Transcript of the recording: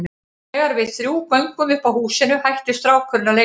Þegar við þrjú göngum upp að húsinu hættir strákurinn að leika sér.